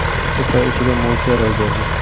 Uch oy ichida mo‘jiza ro‘y berdi.